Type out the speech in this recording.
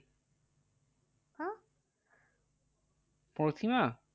প্রতিমা?